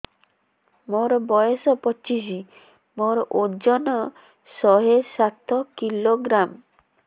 ମୋର ବୟସ ପଚିଶି ମୋର ଓଜନ ଶହେ ସାତ କିଲୋଗ୍ରାମ